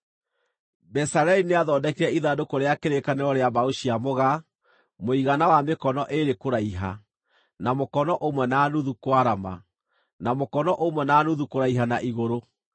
Bezaleli nĩathondekire ithandũkũ rĩa kĩrĩkanĩro rĩa mbaũ cia mũgaa, mũigana wa mĩkono ĩĩrĩ kũraiha, na mũkono ũmwe na nuthu kwarama, na mũkono ũmwe na nuthu kũraiha na igũrũ.